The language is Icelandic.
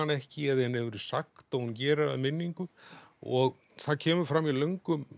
ekki eða henni hefur verið sagt og hún gerir að minningu og það kemur fram í löngum